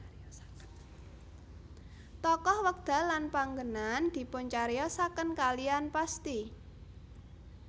Tokoh wekdal lan panggenan dipuncariyosaken kaliyan pasti